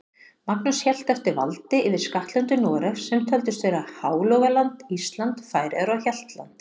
Magnús hélt eftir valdi yfir skattlöndum Noregs, sem töldust vera Hálogaland, Ísland, Færeyjar og Hjaltland.